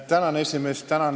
Tänan, esimees!